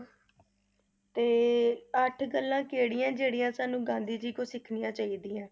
ਤੇ ਅੱਠ ਗੱਲਾਂ ਕਿਹੜੀਆਂ, ਜਿਹੜੀਆਂ ਸਾਨੂੰ ਗਾਂਧੀ ਜੀ ਤੋਂ ਸਿੱਖਣੀਆਂ ਚਾਹੀਦੀਆਂ?